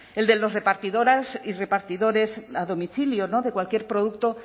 el de las repartidoras y repartidores a domicilio de cualquier producto